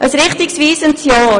Ein richtungsweisendes Jahr!